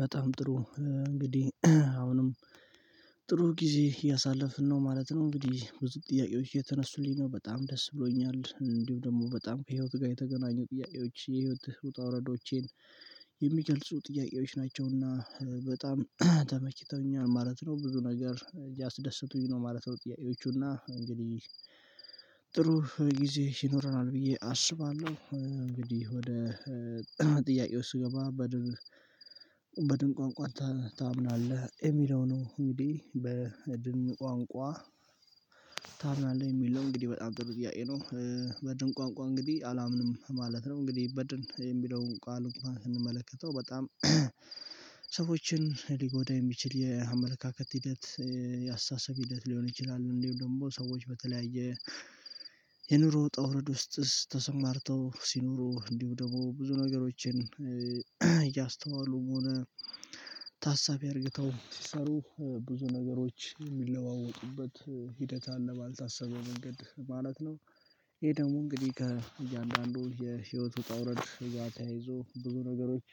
በጣም ጥሩ፤ እንግዲህ አሁንም ጥሩ ጊዜ ያሳለፍን ነው ማለት ነው። እንግዲህ ብዙ ጥያቄዎች እየተነሱልኝ ነው በጣም ደስ ብሎኛል። እንዲሁ ደግሞ በጣም ከህይወት ጋር የተገናኙ ጥያቄዎች የህይወት ውጣወረዶቼን የሚገልጹ ጥያቄዎች ናቸውና በጣም ተመችተውኛል ማለት ነው። ብዙ ነገር እያስደስቱኝ ነው ማለት ነው ጥያቄዎቹና እንግዲህ ጥሩ ጊዜ ይኖረናል ብዬ አስባለሁ፤ እንግዲህ ወደ ጥያቄው ውስጥ ስገባ በድን በድን ቋንቋ ታምናለህ? የሚለው ነው እኔ በድን ቋንቋ ታምናለህ የሚል ነው እንግዲህ በጣም ጥሩ ጥያቄ ነው። በድን ቋንቋ እንግዲህ አላምንም ማለት ነው። እንግዲህ በድን የሚለውን ቃል እንኳን ስንመለከተው በጣም ሰዎችን ሊጎዳ የሚችል የአመለካከት ሂደት የአስተሳሰብ ሂደት ሊሆን ይችላል። እንዲሁም ደግሞ ሰዎች በተለያየ የኑሮ ውጣወርድ ውስጥ ተሰማርተው ሲኖሩ እንዲሁ ደግሞ ብዙ ነገሮችን እያስተዋሉ ሆነ ታሳቢ አድርገው ሲሰሩ ብዙ ነገሮች ሚለዋወጡበት ሂደት አለ ባልታሰበው መንገድ ማለት ነው ይሄ ደግሞ እንግዲህ ከእያንዳንዱ የህይወት ውጣ ወረድ እዛ ተያይዞ ብዙ ነገሮች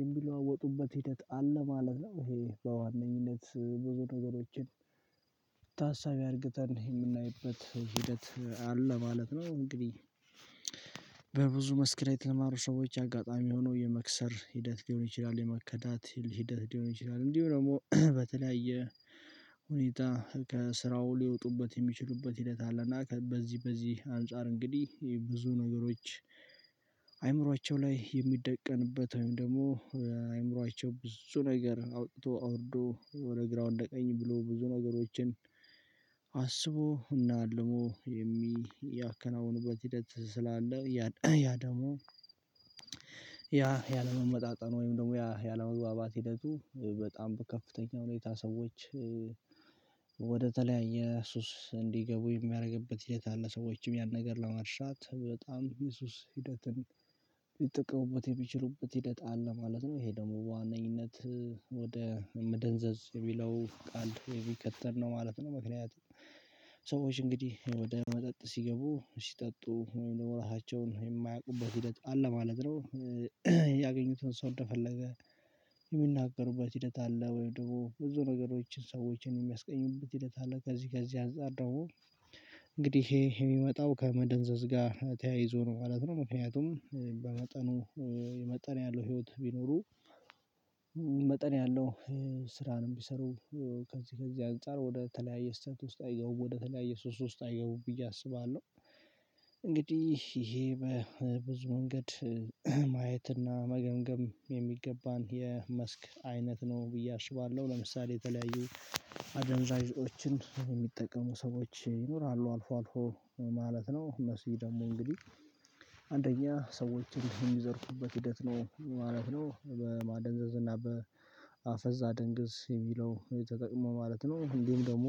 የሚለዋወጡበት ሂደት አለ ማለት ነው። ይሄ በዋነኝነት ብዙ ነገሮችን ታሳቢ አድርገን የምናይበት ሂደት አለ ማለት ነው። እንግዲህ በብዙ መክሰር የተማሩ ሰዎች አጋጣሚ ሆኖ የመክሰር ሂደት ሊሆን ይችላል፤ የመከዳት ሂደት ሊሆን ይችላል፤ እንዲሁ ደግሞ በተለያየ ሁኔታ ከስራው ሊወጡበት የሚችሉበት ሂደት አለና በዚህ በዚህ አንፃር እንግዲህ ብዙ ነገሮች አእምሮአቸው ላይ የሚደቀንበት ወይም ደግሞ አእምሮአቸው ብዙ ነገር አውጥቶ አውርዶ ወደ ግራው ወደ ቀኝ ብሎ ብዙ ነገሮችን አስቦ እና ሀልሞ የሚያከናውኑበት ሂደት ስላለ ያ ያ ደግሞ ያ ያለመመጣጠን ወይም ደግሞ ያ ያለመግባባት ሂደቱ በጣም በከፍተኛ ሁኔታ ሰዎች ወደተለያየ ሱስ እንዲገቡ የሚያደርግበት ሂደት አለ ሰዎችም ያን ነገር ለመርሳት በጣም የሱስ ሂደትን ሊጠቅሙበት የሚችሉበት ሂደት አለ ማለት ነው ይሄ ደግሞ በዋነኝነት ወደ መደንዘዝ የሚለው ቃል የሚቀጥል ነው ማለት ነው ምክንያቱም ሰዎች እንግዲህ ወደ መጠጥ ሲገቡ፤ ሲጠጡ ወይም ደግሞ ራሳቸውን የማያውቁበት ሂደት አለ ማለት ነው። ያገኙትን ሰው እንደፈለገ ሚናገሩበት ሂደት አለ ወይም ደግሞ ብዙ ነገሮች ሰዎችን የሚያስቀይሙበት ሂደት አለ። ከዚህ ከዚህ አንፃር ደግሞ እንግዲህ ይሄ ሚመጣው ከመደንዘዝ ጋር ተያይዞ ነው ማለት ነው ምክንያቱም በመጠኑ የመጠን ያለው ህይወት ቢኖሩ መጠን ያለው ስራንም ቢሰሩ ከዚህ ከዚህ አንፃር ወደ ተለያየ ስህተት ውስጥ አይገቡም፤ ወደ ተለያየ ሱስ ውስጥ አይገቡም ብዬ አስባለሁ። እንግዲህ ይሄ በብዙ መንገድ ማየትና መገምገም የሚገባን የመስክ አይነት ነው ብዬ አስባለሁ። ለምሳሌ የተለያዩ አደንዛዥ ዕፆችን ሚጠቀሙ ሰዎች ይኖራሉ አልፎ አልፎ ማለት ነው እነሱ ደግሞ እንግዲህ አንደኛ ሰዎችን የሚዘርፉበት ሂደት ነው ማለት ነው። በማደንዘዝ እና በአፈዛ ደንግዝ የሚለው ተጠቅመው ማለት ነው እንዲሁም ደግሞ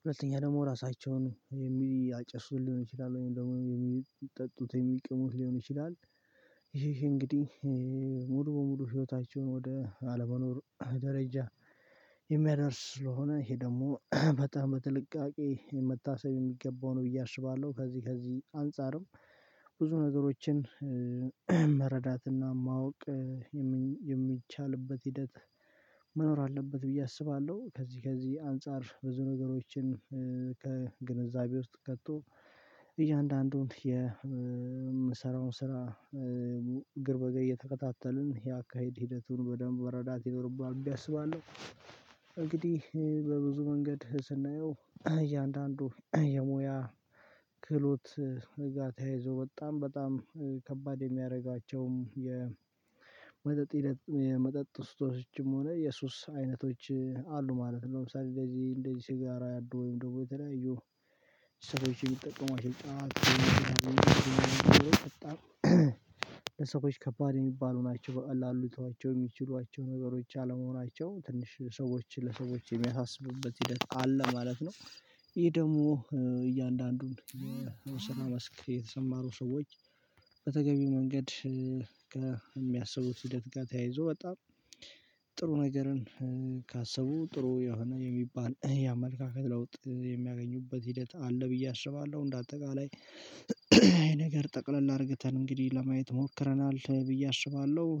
ሁለተኛ ደግሞ ራሳቸውን የሚያጨሱ ሊሆኑ ይችላሉ ወይም ደግሞ ሚጠጡት የሚቅሙት ሊሆን ይችላል ይሄ እንግዲህ ሙሉ በሙሉ ህይወታቸውን ወደ አለመኖር ደረጃ የሚያደርስ ስለሆነ ይሄ ደግሞ በጣም በጥንቃቄ መታሰብ የሚገባው ነው ብዬ አስባለሁ። ከዚህ ከዚህ አንፃርም ብዙ ነገሮችን መረዳትና ማወቅ የሚቻልበት ሂደት መኖር አለበት ብዬ አስባለሁ። ከዚህ ከዚህ አንፃር ብዙ ነገሮችን ከግንዛቤ ውስጥ ከቶ የምንሰራውን ስራ እግር በእግር እየተከታተልን ያካሄድ ሂደቱን በደንብ መረዳት ይኖርብናል ብዬ አስባለሁ እንግዲህ በብዙ መንገድ ስናየው እያንዳንዱ የሙያ ክህሎት ጋር ተያይዞ በጣም በጣም ከባድ የሚያደርጓቸውም የመጠጥ የመጠጥ ሱሶችም ሆነ የሱስ አይነቶች አሉ ማለት ነው ለምሳሌ እንደዚህ እንደዚህ ሲጋራ ያሉ ወይም ደግሞ የተለያዩ ሰዎች የሚጠቀሙ አይቻልም አሸርታ ለሰዎች ከባድ የሚባሉ ናቸው። በቃ ላሉትናቸው የሚችሏቸው ነገሮች አለመሆናቸው ትንሽ ሰዎችን ለሰዎች የሚያሳስቡበት ሂደት አለ ማለት ነው። ይሄ ደግሞ እያንዳንዱን ስራ መስክ የተሰማሩ ሰዎች በተገቢው መንገድ ከሚያስቡት ሂደት ጋር ተያይዞ በጣም ጥሩ ነገርን ካሰቡ ጥሩ የሆነ የሚባል የአመለካከት ለውጥ የሚያገኙበት ሂደት አለ ብዬ አስባለዉ። እንደ አጠቃላይ አይ ነገር ጠቅለል አድርግተን እንግዲህ ለማየት ሞክረናል ብዬ አሰባለው።